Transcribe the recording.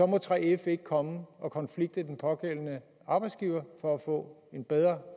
må 3f ikke komme og konflikte den pågældende arbejdsgiver for at få en bedre